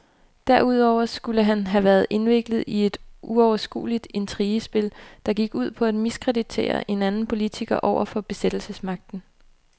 Derudover skulle han have være indviklet i et uoverskueligt intrigespil, der gik ud på at miskreditere en anden politiker over for besættelsesmagten.